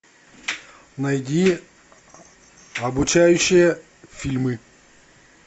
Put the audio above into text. найди обучающие фильмы